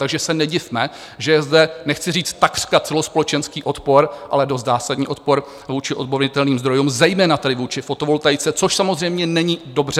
Takže se nedivme, že je zde nechci říct takřka celospolečenský odpor, ale dost zásadní odpor vůči obnovitelným zdrojům, zejména tedy vůči fotovoltaice, což samozřejmě není dobře.